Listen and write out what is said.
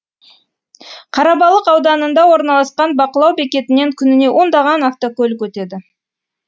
қарабалық ауданында орналасқан бақылау бекетінен күніне ондаған автокөлік өтеді